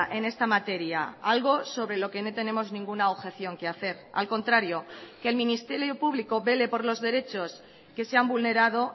en esta materia algo sobre lo que no tenemos ninguna objeción que hacer al contrario que el ministerio público vele por los derechos que se han vulnerado